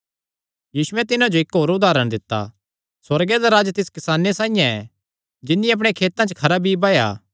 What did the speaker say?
यीशुयैं तिन्हां जो इक्क होर उदारण दित्ता सुअर्गे दा राज्ज तिस किसाने साइआं ऐ जिन्नी अपणे खेतां च खरा बीई बाया